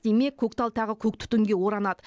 демек көктал тағы көк түтінге оранады